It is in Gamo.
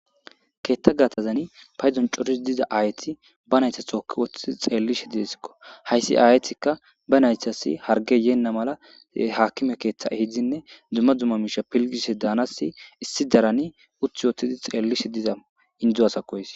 Keththa geththan paydon cooridi diiza ayeti be naytta tooki woththidi xellishe dessiko hayssi ayetika be nayttas harggey yeena malla haakime keththa ehiddine dumma dumma mishshe filligishshe danasi issi issi daran uttidi xellishe diiza inddo asako hayssi.